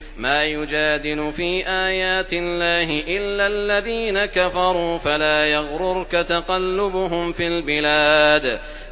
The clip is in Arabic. مَا يُجَادِلُ فِي آيَاتِ اللَّهِ إِلَّا الَّذِينَ كَفَرُوا فَلَا يَغْرُرْكَ تَقَلُّبُهُمْ فِي الْبِلَادِ